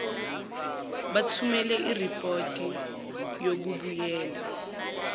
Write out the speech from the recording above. bathumele iripoti yokubuyela